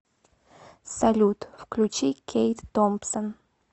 салют включи кейт томпсон